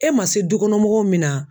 E ma se dukɔnɔmɔgɔw minna